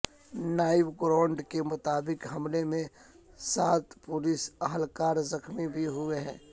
نائب گورنر کے مطابق حملے میں سات پولیس اہلکار زخمی بھی ہوئے ہیں